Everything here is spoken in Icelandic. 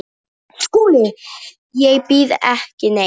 SKÚLI: Ég býð ekki neitt.